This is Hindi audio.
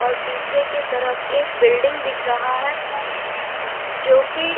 और पीछे के तरफ एक बिल्डिंग दिख रहा है जो की--